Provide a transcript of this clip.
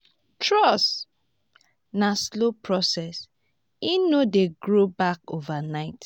trust na slow process e no dey grow back overnight.